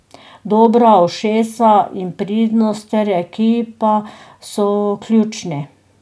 Dobra ušesa in pridnost ter ekipa so ključni.